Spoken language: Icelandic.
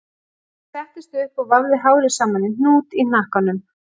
Hún settist upp og vafði hárið saman í hnút í hnakkanum